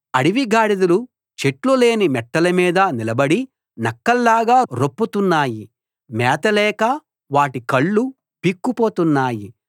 అడవి గాడిదలు చెట్లులేని మెట్టల మీద నిలబడి నక్కల్లాగా రొప్పుతున్నాయి మేత లేక వాటి కళ్ళు పీక్కుపోతున్నాయి